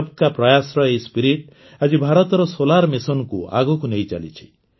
ସବକା ପ୍ରୟାସର ଏହି ଉତ୍ସାହ ଆଜି ଭାରତର ସୌର ମିଶନକୁ ଆଗକୁ ନେଇଚାଲିଛି